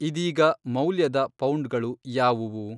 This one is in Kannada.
ಇದೀಗ ಮೌಲ್ಯದ ಪೌಂಡ್‌ಗಳು ಯಾವುವು